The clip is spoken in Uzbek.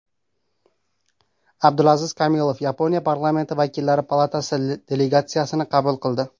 Abdulaziz Kamilov Yaponiya Parlamenti Vakillar palatasi delegatsiyasini qabul qildi.